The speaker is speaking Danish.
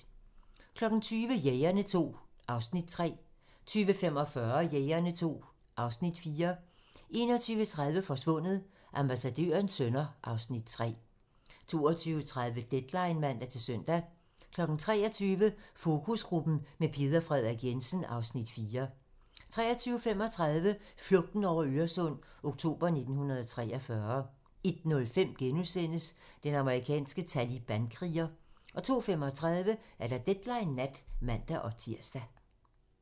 20:00: Jægerne II (Afs. 3) 20:45: Jægerne II (Afs. 4) 21:30: Forsvundet: Ambassadørens sønner (Afs. 3) 22:30: Deadline (man-søn) 23:00: Fokusgruppen med Peder Frederik Jensen (Afs. 4) 23:35: Flugten over Øresund - oktober 1943 01:05: Den amerikanske talibankriger * 02:35: Deadline nat (man-tir)